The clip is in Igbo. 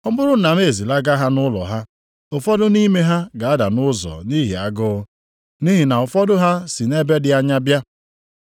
Ọ bụrụ na m ezilaga ha nʼụlọ ha, ụfọdụ nʼime ha ga-ada nʼụzọ nʼihi agụụ. Nʼihi na ụfọdụ ha si nʼebe dị anya bịa.”